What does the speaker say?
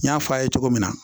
N y'a fɔ a' ye cogo min na